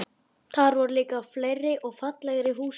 Þar voru líka fleiri og fallegri húsgögn.